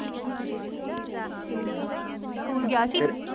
ਠੀਕ ਆ school ਗਿਆ ਸੀ, ਫਿਰ